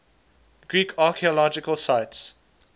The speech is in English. greek archaeological sites